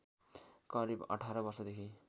करिव १८ वर्षदेखि